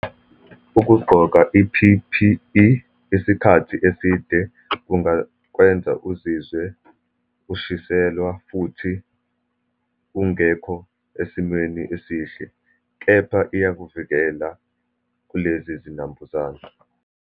Ukugqoka i-P_P_E isikhathi eside kungakwenza uzizwe ushiselwa, futhi ungekho esimweni esihle. Kepha iyakuvikela kulezi zinambuzane.